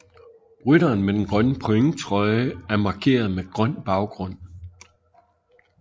Rytteren med den grønne pointtrøje er markeret med grøn baggrund